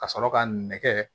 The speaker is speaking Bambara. Ka sɔrɔ ka nɛgɛ